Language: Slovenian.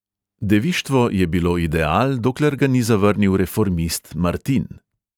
Devištvo je bilo ideal, dokler ga ni zavrnil reformist martin.